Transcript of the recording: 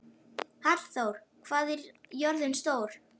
Hallþór, hvað er jörðin stór?